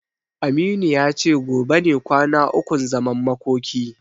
Aminu ya ce gobe ne kwana ukun zaman makoki.